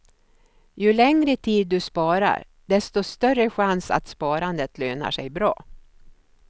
Ju längre tid du sparar, desto större chans att sparandet lönar sig bra.